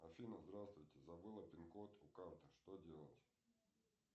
афина здравствуйте забыла пин код у карты что делать